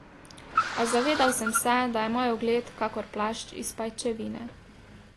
A zavedal sem se, da je moj ugled kakor plašč iz pajčevine.